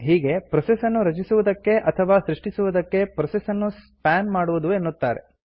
ಹೀಗೆ ಪ್ರೋಸೆಸ್ ನ್ನು ರಚಿಸುವುದಕ್ಕೆ ಅಥವಾ ಸೃಷ್ಟಿಸುವುದಕ್ಕೆ ಪ್ರೋಸೆಸ್ ನ್ನು ಸ್ಪಾನ್ ಮಾಡುವುದು ಎನ್ನುತಾರೆ